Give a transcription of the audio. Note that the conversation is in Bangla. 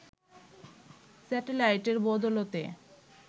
স্যাটেলাইটের বদৌলতে